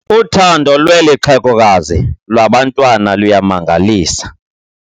Uthando lweli xhegokazi lwabantwana luyamangalisa.